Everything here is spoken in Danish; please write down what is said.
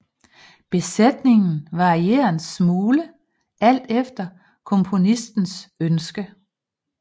Besætningen varierer en smule alt efter komponistens ønske